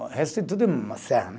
O resto é tudo uma serra né.